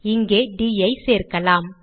இங்கே ட் ஐ சேர்க்கலாம்